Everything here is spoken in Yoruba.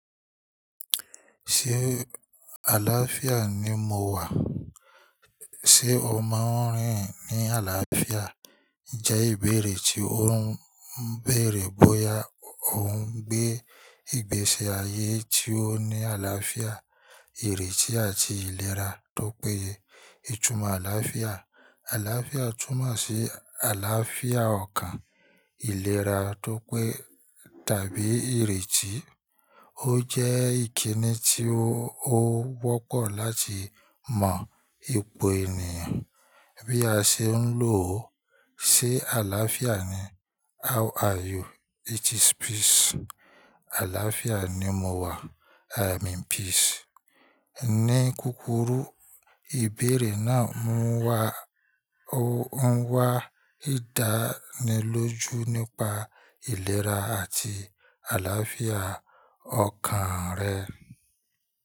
Ṣé àlàáfíà ni mo wà? Ṣé o máa ń rìn ní àlàáfíà? Jẹ́ ìbéèrè tí ó ń bèèrè bóyá o ń gbé ìgbésí ayé tí ó ní àlàáfíà, ìrètí àti ìlera tó péye. Ìtumọ̀ àlàáfíà. Àlàáfíà túnmọ̀ sí àlàáfíà ọkàn ìlera tó pé tàbí ìrètí. Ó jẹ́ ìkíni tí ó wọ́pọ̀ láti mọ̀ ipò ènìyàn bí a ṣe ń lò ó. Ṣé àlàáfíà ni? How are you? It is peace. Àlàáfíà ni mo wà. I am in peace. Ní kúkúrú ìbéèrè na oun wá ìdánilójú nípa ìlera àti àlàáfíà ọkàn rẹ.